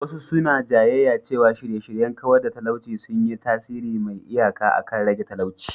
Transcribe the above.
Wasu suna jayayya cewa shirye-shiryen kawar da talauci sun yi tasiri mai iyaka akan rage talauci.